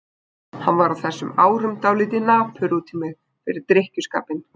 Hann var á þessum árum dálítið napur út í mig fyrir drykkjuskapinn.